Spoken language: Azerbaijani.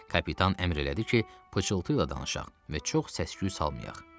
Kapitan əmr elədi ki, pıçıltı ilə danışaq və çox səs-küy salmayaq.